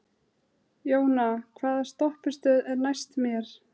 Jóna, hvaða stoppistöð er næst mér?